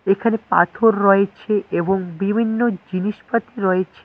এখানে পাথর রয়েছে এবং বিভিন্ন জিনিসপাতি রয়েছে।